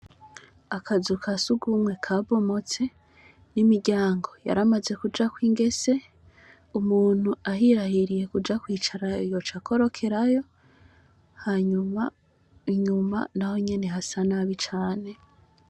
Akazu ka sugumwe kabomotse, n'imiryango yaramaze kujako ingese, umuntu ahirahiriye kua kwicarayo yoca akorokerayo hanyuma inyuma naho nyene hasa nabi cane.